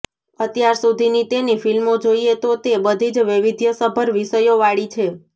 અત્યાર સુધીની તેની ફિલ્મો જોઇએ તો તે બધી જ વૈવિધ્યસભર વિષયોવાળી છે